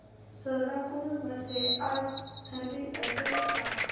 सोलापूर मध्ये आज थंडी असेल का